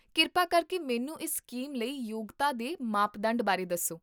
ਕਿਰਪਾ ਕਰਕੇ ਮੈਨੂੰ ਇਸ ਸਕੀਮ ਲਈ ਯੋਗਤਾ ਦੇ ਮਾਪਦੰਡ ਬਾਰੇ ਦੱਸੋ